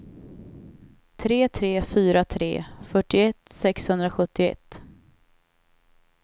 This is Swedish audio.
tre tre fyra tre fyrtioett sexhundrasjuttioett